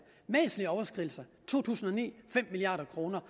væsentlige overskridelser i to tusind og ni fem milliard kroner